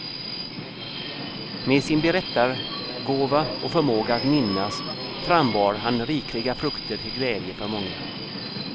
Med sin berättargåva och förmåga att minnas frambar han rikliga frukter till glädje för många.